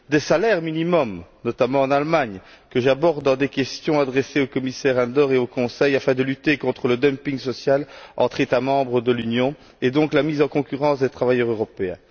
des salaires minimum, notamment en Allemagne, un thème que j'aborde dans des questions adressées au commissaire Andor et au Conseil afin de lutter contre le dumping social entre États membres de l'Union et, donc, contre la mise en concurrence des travailleurs européens.